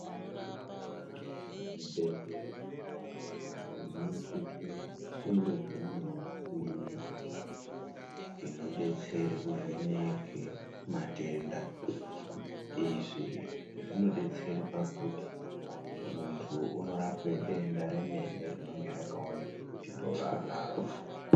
Zvibhedhlera zvinosisa kunge zvine michini inodetsera kuvheneke matenda. Izvi zvinodetsera pakuti muntu unorapwa denda remene rinenge rakaonekwa kuti ndooraanaro.